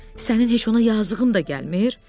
Sənin heç ona yazığın da gəlmir?